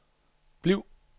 bliv